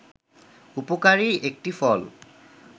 উপকারী একটি ফল